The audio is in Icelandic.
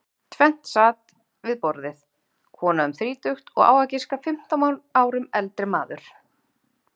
Tvennt sat við borðið, kona um þrítugt og á að giska fimmtán árum eldri maður.